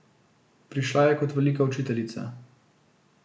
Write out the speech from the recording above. Prišla je kot velika učiteljica.